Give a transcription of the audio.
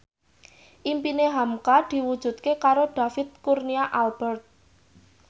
impine hamka diwujudke karo David Kurnia Albert